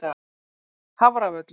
Hafravöllum